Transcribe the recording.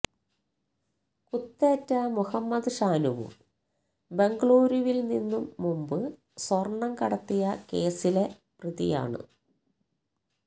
കുത്തേറ്റ മുഹമദ് ഷാനുവും ബംഗ്ലൂരുവില്നിന്നും മുമ്പ് സ്വര്ണം കടത്തിയ കേസില് പ്രതിയാണ്